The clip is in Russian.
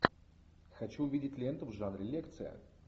хочу увидеть ленту в жанре лекция